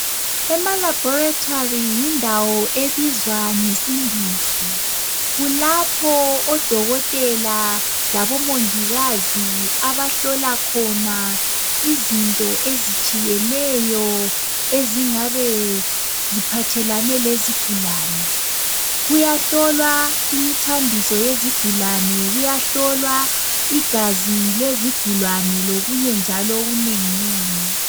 Emalaboratory yindawo ebizwa ngesingisi, kulapho odokotela labomongikazi abahlola khona izinto ezitshiyeneyo ezingabe ziphathelane lezigulane. Kuyahlolwa imithambiso yezigulane, kuyahlolwa igazi lezigulane lokunye njalo okunenginengi.